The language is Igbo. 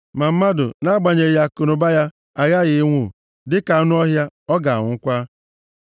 Ma mmadụ, nʼagbanyeghị akụnụba ya, aghaghị ịnwụ, dịka anụ ọhịa, ọ ga-anwụkwa.